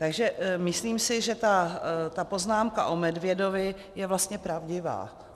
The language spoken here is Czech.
Takže myslím si, že ta poznámka o medvědovi je vlastně pravdivá.